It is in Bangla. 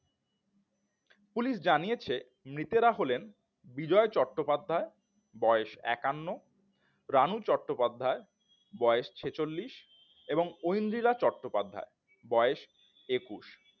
পুলিশ জানিয়েছেন মৃতেরা হলেন বিজয় চট্টোপাধ্যায় বয়স একান্ন রানু চট্টোপাধ্যায়ের বয়স ছেচল্লিশ ঐন্দ্রিলা চট্টোপাধ্যায় বয়স একুশ